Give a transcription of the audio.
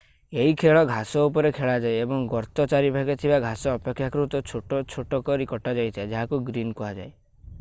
ଏହି ଖେଳ ଘାସ ଉପରେ ଖେଳାଯାଏ ଏବଂ ଗର୍ତ୍ତ ଚାରିପାଖରେ ଥିବା ଘାସ ଅପେକ୍ଷାକୃତ ଛୋଟ ଛୋଟ କରି କଟାଯାଇଥାଏ ଯାହାକୁ ଗ୍ରୀନ୍ କୁହାଯାଏ